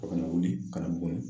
A nana wuli ka na Buguni